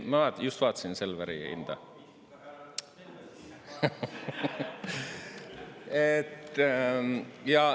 Ma just vaatasin Selveri hinda.